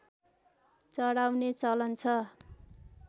चढाउने चलन छ